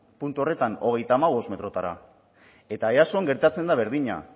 puntu horretan hogeita hamabost metrotara eta eason gertatzen da berdina